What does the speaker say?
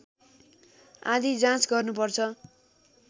आदि जाँच गर्नुपर्छ